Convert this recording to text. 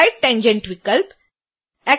split tangent विकल्प